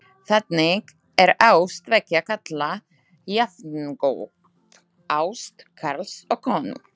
Þannig er ást tveggja karla jafngóð ást karls og konu.